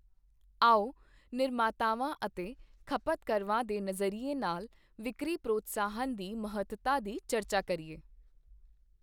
ਆਓ ਨਿਰਮਾਤਾਵਾਂ ਅਤੇ ਖਪਤਕਰਵਾਂ ਦੇ ਨਜ਼ਰੀਏ ਨਾਲ ਵਿਕਰੀ ਪ੍ਰੋਤਸਾਹਨ ਦੀ ਮਹੱਤਤਾ ਦੀ ਚਰਚਾ ਕਰੀਏ।